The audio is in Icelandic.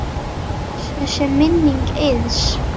Blessuð sé minning Eiðs.